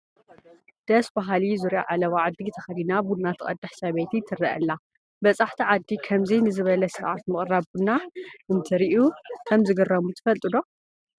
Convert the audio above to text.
ደስ በሃሊ ዙርያ ዓለባ ዓዲ ተኸዲና ቡና ትቐድሕ ሰበይቲ ትርአ ኣላ፡፡ በፃሕቲ ዓዲ ከምዚ ንዝበለ ስርዓት ምቕራብ ቡና እንትርእዩ ከምዝግረሙ ትፈልጡ ዶ?